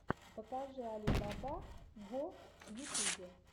покажи али баба го в ютубе